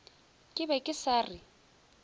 ke be ke sa re